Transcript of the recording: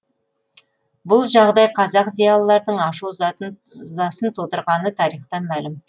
бұл жағдай қазақ зиялыларының ашу ызасын тудырғаны тарихтан мәлім